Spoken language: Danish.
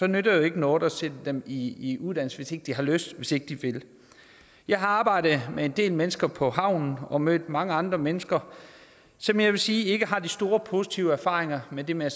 nytter ikke noget at sætte dem i i uddannelse hvis ikke de har lyst og hvis ikke de vil jeg har arbejdet med en del mennesker på havnen og mødt mange andre mennesker som jeg vil sige ikke har de store positive erfaringer med det med at